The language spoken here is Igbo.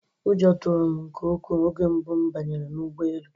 Ụjọ tụrụ m nke ukwuu oge mbụ m banyere n'ụgbọelu